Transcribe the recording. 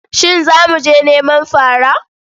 Shin za mu je neman fara?